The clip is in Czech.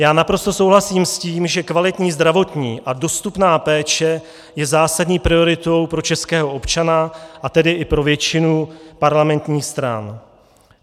Já naprosto souhlasím s tím, že kvalitní zdravotní a dostupná péče je zásadní prioritou pro českého občana, a tedy i pro většinu parlamentních stran.